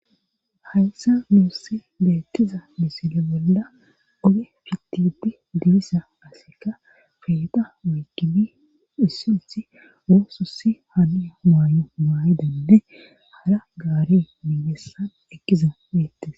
Haysa muurse beettiza misile bolda oge fitibi dibisa aseka feeta weykibi hissilti woosussi hania maayo maayidande hara gaare miibessan ekkiza beettis.